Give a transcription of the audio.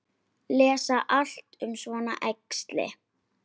Lesa allt um svona æxli?